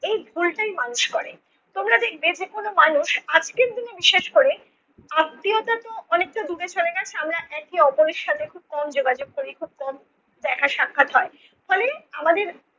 এই ভুলটাই মানুষ করে। তোমরা দেখবে যেকোন মানুষ আজকের দিনে বিশেষ করে আত্মীয়তা তো অনেকটা দূরে সরে গেছে আমরা একে অপরের সাথে খুব কম যোগাযোগ করি খুব কম দেখা সাক্ষাৎ হয়, ফলে আমাদের